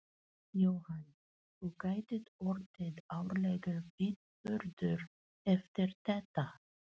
Jóhann: Og gæti orðið árlegur viðburður eftir þetta?